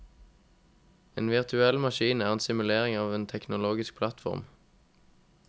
En virtuell maskin er en simulering av en teknologisk plattform.